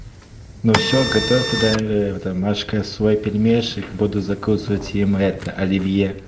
ну все готовь тогда это машка свой пельмешек буду закусывать им это оливье